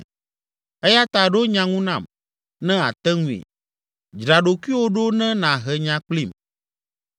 eya ta ɖo nya ŋu nam, ne àte ŋui, dzra ɖokuiwò ɖo ne nàhe nya kplim.